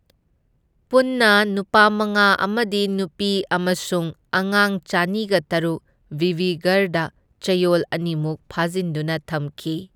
ꯄꯨꯟꯅ ꯅꯨꯄꯥ ꯃꯉꯥ ꯑꯃꯗꯤ ꯅꯨꯄꯤ ꯑꯃꯁꯨꯡ ꯑꯉꯥꯡ ꯆꯅꯤꯒ ꯇꯔꯨꯛ ꯕꯤꯕꯤꯒꯔꯗ ꯆꯌꯣꯜ ꯑꯅꯤꯃꯨꯛ ꯐꯥꯖꯤꯟꯗꯨꯅ ꯊꯝꯈꯤ꯫